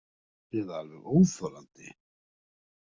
Eða alveg óþolandi.